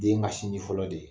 Den ka sinji fɔlɔ de ye.